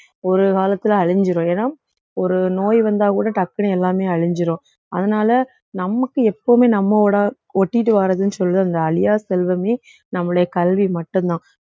ஒரு காலத்துல அழிஞ்சிரும் ஏன்னா ஒரு நோய் வந்தா கூட டக்குனு எல்லாமே அழிஞ்சிரும் அதனால நமக்கு எப்பவுமே நம்மோட ஒட்டிட்டு வர்றதுன்னு சொல்ற அந்த அழியா செல்வமே நம்முடைய கல்வி மட்டும்தான்